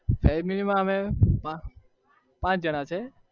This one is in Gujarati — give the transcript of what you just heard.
family માં અમે પાચ જણા છીએ